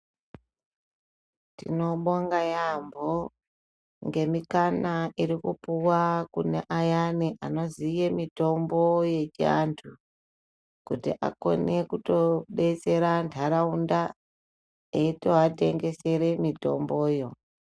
Tinobonga yaambo ngemikana irikupuva kune ayani anoziye mitombo yechiantu. Kuti akone kutobetsera ntaraunda eitoatengesere mitomboyo.